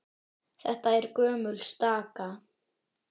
Þetta er gömul staka.